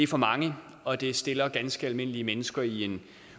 for mange og det stiller ganske almindelige mennesker i en